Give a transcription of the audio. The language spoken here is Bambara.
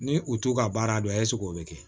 Ni u t'u ka baara dɔn o bɛ kɛ